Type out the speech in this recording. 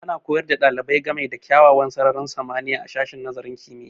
Ana koyar da ɗalibai ga me da kyawun sararin samaniya a sashin nazarin kimiyya